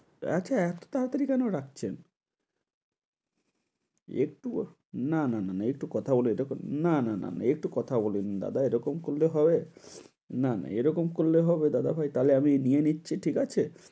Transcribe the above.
একা~ এতো তাড়াতাড়ি কেনো কেনো রাখছেন? একটু, না না না একটু কথা বলি~ এটা কোনো~ না না না না একটু কথা বলি। দাদা এরকম করলে হবে? না না এ রকম করলে হবে দাদা ভাই? তাইলে আমি নিয়ে নিচ্ছি, ঠিক আছে?